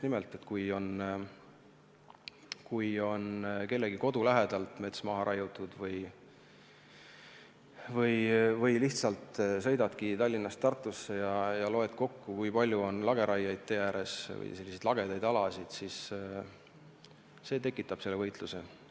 Kui kellegi kodu lähedalt on mets maha raiutud või lihtsalt sõidadki Tallinnast Tartusse ja loed kokku, kui palju on tee ääres lageraieplatse või selliseid lagedaid alasid, siis just see tekitabki seda võitlust.